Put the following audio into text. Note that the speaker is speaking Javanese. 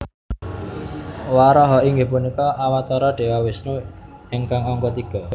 Waraha inggih punika Awatara Dewa Wisnu ingkang angka tiga